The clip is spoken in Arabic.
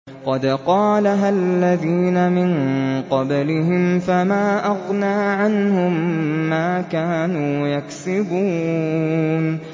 قَدْ قَالَهَا الَّذِينَ مِن قَبْلِهِمْ فَمَا أَغْنَىٰ عَنْهُم مَّا كَانُوا يَكْسِبُونَ